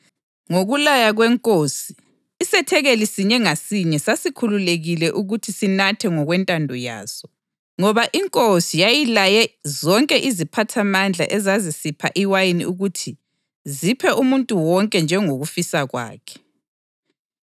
Ngokulaya kwenkosi, isethekeli sinye ngasinye sasikhululekile ukuthi sinathe ngokwentando yaso, ngoba inkosi yayilaye zonke iziphathamandla ezazisipha iwayini ukuthi ziphe umuntu wonke njengokufisa kwakhe.